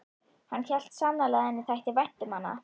Hann hélt sannarlega að henni þætti vænt um hann.